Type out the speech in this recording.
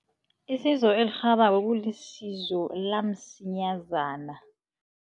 Isizo elirhabako kulisizo la msinyazana.